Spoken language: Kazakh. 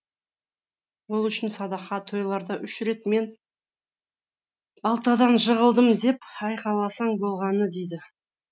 ол үшін садақа тойларда үш рет мен балтадан жығылдым деп айқайласаң болғаны дейді